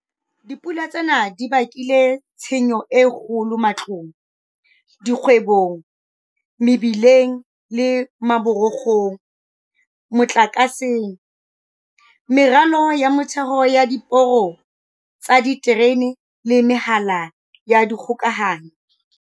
Dipula tsena di bakile tshenyo e kgolo matlong, dikgwebong, mebileng le maborokgong, motlakaseng, meralo ya motheo ya diporo tsa diterene le mehala ya dikgokahanyo.